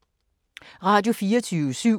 Radio24syv